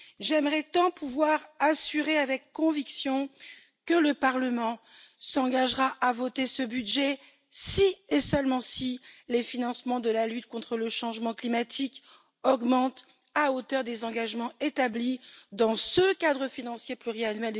J'aimerais tant pouvoir assurer avec conviction que le Parlement s'engagera à arrêter ce budget, si et seulement si les financements de la lutte contre le changement climatique augmentent à hauteur des engagements pris dans ce cadre financier pluriannuel